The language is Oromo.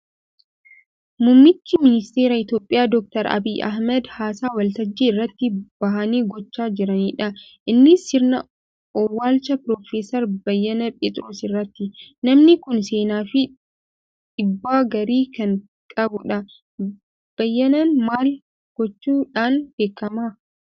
Muummicha ministeera Itoophiyaa Dookter Abiyyi Ahmad haasaa waltajjii irratti bahanii gochaa jiranidha. Innis sirna owwaalcha piroofeesar Beyyenee Pheexiroos irratti. Namni kun seenaa fi dhiibbaa gaarii kan qabudha. Beyyeneen maal gochuu dhaan beekama?